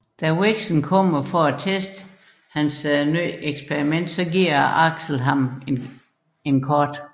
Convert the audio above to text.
Da Vexen kommer for at teste sit nye eksperiment giver Axel ham et kort